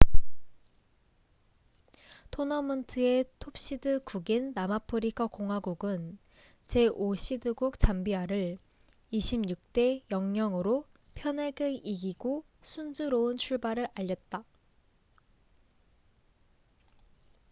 토너먼트의 톱시드 국인 남아프리카 공화국은 제5시드국 잠비아를 26 대 00으로 편하게 이기고 순조로운 출발을 알렸다